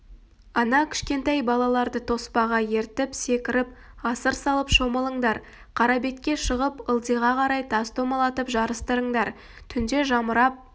ана кішкентай балаларды тоспаға ертіп секіріп асыр салып шомылыңдар қарабетке шығып ылдиға қарай тас домалатып жарыстырыңдар түнде жамырап